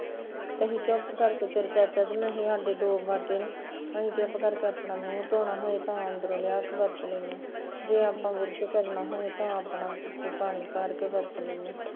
ਅਸੀਂ ਚੁੱਪ ਕਰਕੇ ਤੇਰਾ ਚਾਚਾ ਤੇ ਮੈਂ ਸਾਡੇ ਦੋ ਬਾਟੇ ਨੇ, ਅਸੀਂ ਚੁੱਪ ਕਰਕੇ ਆਪਣਾ ਭਾਂਵੇ ਮੂਹ ਧੋਣਾ ਹੋਏ ਤਾਂ ਅੰਦਰੋਂ ਲਿਆ ਕੇ ਵਰਤ ਲੈਂਦੇ, ਜੇ ਆਪਾਂ ਬੁਰਸ਼ ਕਰਨਾ ਹੋਏ ਤਾਂ ਆਪਣਾ ਪਾਣੀ ਭਰ ਕੇ ਵਰਤ ਲੈਂਦੇ